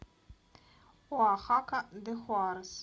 оахака де хуарес